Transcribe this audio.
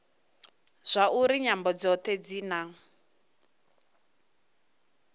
zwauri nyambo dzothe dzi na